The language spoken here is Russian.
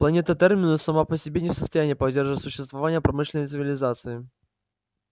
планета терминус сама по себе не в состоянии поддерживать существование промышленной цивилизации